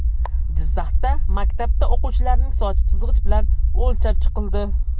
Jizzaxda maktabda o‘quvchilarining sochi chizg‘ich bilan o‘lchab chiqildi .